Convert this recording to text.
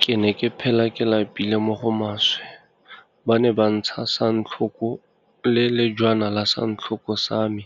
Ke ne ke phela ke lapile mo go maswe, ba ne ba ntsha santlho ko le lejwana la santlhoko sa me